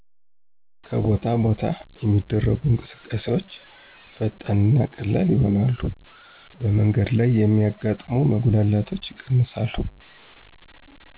ከቦታ ቦታ የሚደረጉ እንቅስቃሴዎች ፈጣን እና ቀላል ይሆናሉ በመንገድ ላይ የሚያጋጥሙ መጉላላቶች ይቀንሳሉ።